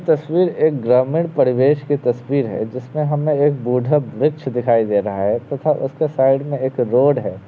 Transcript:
यह तस्वीर एक ग्रामीण परिवेश की तस्वीर है जिसमें एक बूढ़ा वृक्ष दिखाई दे रहा है तथा उसके साईड में एक रोड है।